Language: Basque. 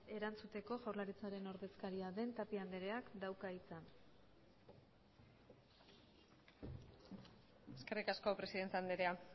erantzuteko jaurlaritzaren ordezkaria den tapia andreak dauka hitza eskerrik asko presidente andrea